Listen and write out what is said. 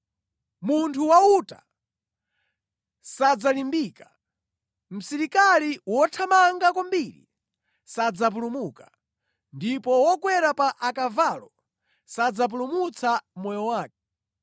Munthu wa uta sadzalimbika, msilikali wothamanga kwambiri sadzapulumuka, ndipo wokwera pa akavalo sadzapulumutsa moyo wake.